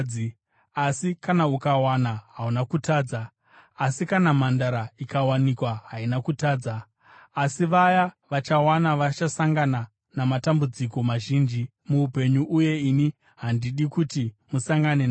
Asi kana ukawana, hauna kutadza; asi kana mhandara ikawanikwa haina kutadza. Asi vaya vachawana vachasangana namatambudziko mazhinji muupenyu uye ini handidi kuti musangane nawo.